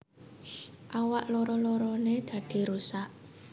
Awak loro loroné dadi rusak